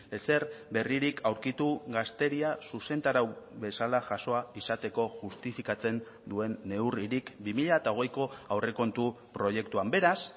ezer berririk aurkitu gazteria zuzentarau bezala jasoa izateko justifikatzen duen neurririk bi mila hogeiko aurrekontu proiektuan beraz